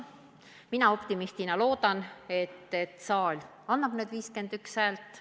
Mina optimistina loodan, et saal annab need 51 häält.